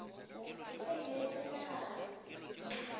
ke sa ile le menagano